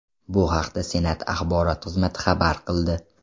Bu haqda Senat axborot xizmati xabar qildi .